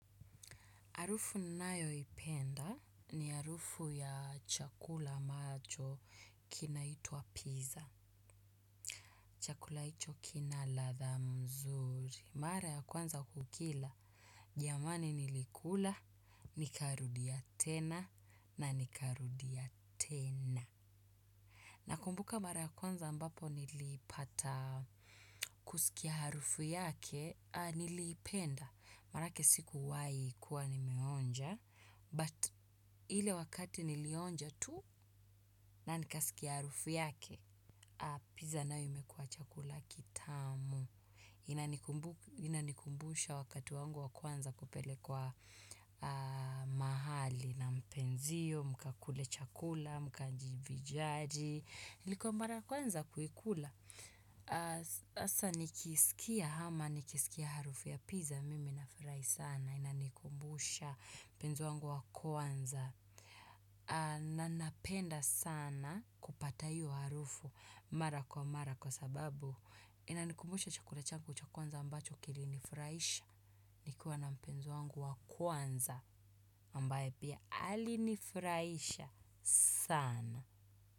Harufu ninayo ipenda ni harufu ya chakula ambacho kinaitwa pizza. Chakula icho kina ladha mzuri. Mara ya kwanza kukila. Jamani nilikula, nikarudia tena na nikarudia tena. Nakumbuka mara ya kwanza ambapo nilipata kusikia harufu yake, niliipenda. Marake sikuwai kuwa nimeonja. But ile wakati nilionja tu na nikasikia harufu yake. Pizza nayo imekua chakula kitamu. Inanikumbusha wakati wangu wa kwanza kupelekwa mahali na mpenzio, mkakule chakula, mkanjivijaji. Ilikuwa mara kwanza kuikula hasa nikiisikia ama nikisikia harufu ya pizza. Mimi nafurai sana inanikumbusha mpenzi wangu wa kwanza. Na nnapenda sana kupata iyo harufu mara kwa mara kwa sababu inanikumusha chakula changu cha kwanza ambacho kilinifuraisha nikiwa na mpenzi wangu wa kwanza ambaye pia alinifuraisha saana.